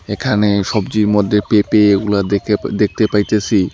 এখানে সবজির মদ্যে পেঁপে ওগুলা দেখে দেখতে পাইতেসি।